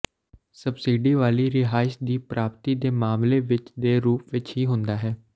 subsidy ਵਾਲੀ ਰਿਹਾਇਸ਼ ਦੀ ਪ੍ਰਾਪਤੀ ਦੇ ਮਾਮਲੇ ਵਿੱਚ ਦੇ ਰੂਪ ਵਿੱਚ ਹੀ ਹੁੰਦਾ ਹੈ